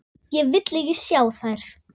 Ég vil ekki sjá þær.